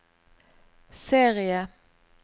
serie